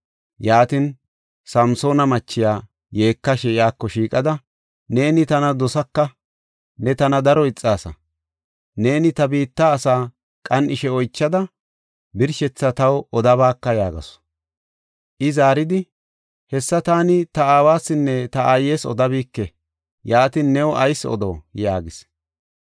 Yaatin, Samsoona machiya yeekashe iyako shiiqada, “Neeni tana dosaka; ne tana daro ixaasa. Neeni ta biitta asaa qan7ishe oychada birshethaa taw odabaaka” yaagasu. I zaaridi, “Hessa taani ta aawasinne ta aayes odabike. Yaatin, new ayis odo?” yaagis.